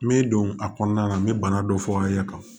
Me don a kɔnɔna na n bɛ bana dɔ fɔ aw ye ka